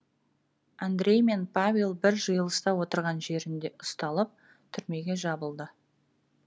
андрей пен павел бір жиылыста отырған жерінде ұсталып түрмеге жабылды